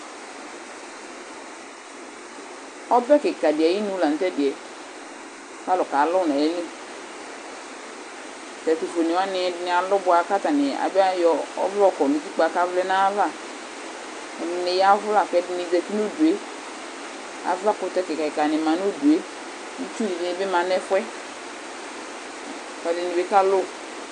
Ɔbɛ kika di ayɩnu la nutɛdiɛ, kalʊ kalu nayɩlɩ Ɛtufue alurdini alu bua kayɔ ɔvlɛ yɔkɔ nʊtɩkpz kavlɛ nayava Ɛdini yzvu lakedini zzti nudue Avakutɛni ma nudue Itsu dinibi ma nefuɛ Edinibi kalʊ